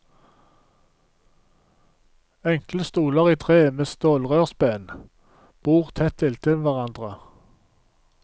Enkle stoler i tre med stålrørsben, bord tett inntil hverandre.